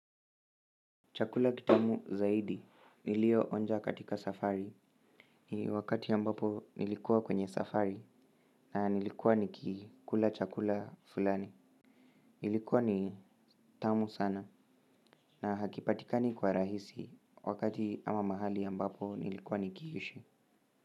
Chakula kitamu zaidi, nilioonja katika safari, ni wakati ambapo nilikuwa kwenye safari na nilikuwa nikikula chakula fulani, nilikuwa ni tamu sana na hakipatikani kwa rahisi, wakati ama mahali ambapo nilikuwa nikiishi.